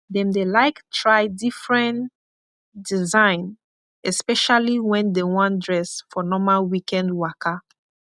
dem dey laik try difren design espeshally wen dem wan dress for normal wikend waka